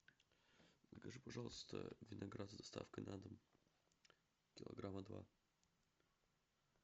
закажи пожалуйста виноград с доставкой на дом килограмма два